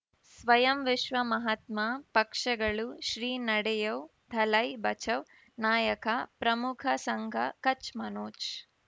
ಸ್ವಯಂ ವಿಶ್ವ ಮಹಾತ್ಮ ಪಕ್ಷಗಳು ಶ್ರೀ ನಡೆಯೂ ದಲೈ ಬಚೌ ನಾಯಕ ಪ್ರಮುಖ ಸಂಘ ಕಚ್ ಮನೋಜ್